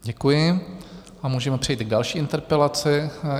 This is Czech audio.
Děkuji a můžeme přejít k další interpelaci.